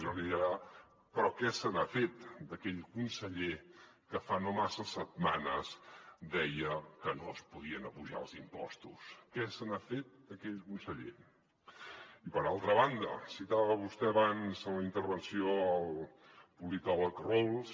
jo li diré ara però què se n’ha fet d’aquell conseller que fa no massa setmanes deia que no es podien apujar els impostos què se n’ha fet d’aquell conseller i per altra banda citava vostè abans a la intervenció el politòleg rawls